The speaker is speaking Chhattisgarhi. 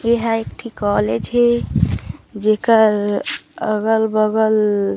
ये हर एक ठी कॉलेज हे जेकर अगल-बगल